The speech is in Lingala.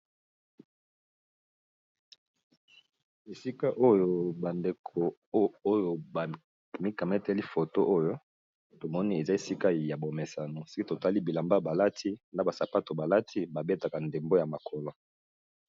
Esika oyo bandeko oyo ba mikamateli foto oyo tomoni eza esika ya bomesano, soki totali bilamba balati na ba sapato balati babetaka ndembo ya makolo.